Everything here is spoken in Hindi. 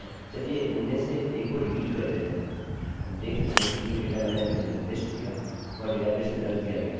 वास्तव में मैंने क्या किया है कि मैंने वर्तमान तिथि के रूप में मेरी जन्म तिथि को रख दिया जो मैं नहीं करना चाहता था